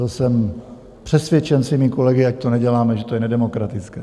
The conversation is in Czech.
Byl jsem přesvědčen svými kolegy, ať to neděláme, že to je nedemokratické.